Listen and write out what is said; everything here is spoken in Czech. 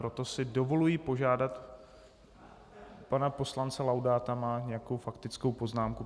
Proto si dovoluji požádat pana poslance Laudáta - má nějakou faktickou poznámku.